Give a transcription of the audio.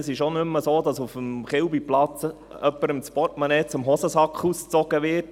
Es ist auch nicht mehr so, dass auf dem Chilbiplatz jemandem das Portemonnaie aus der Hosentasche gezogen wird.